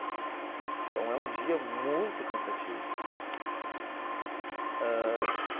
Então é um dia muito cansativo ãh.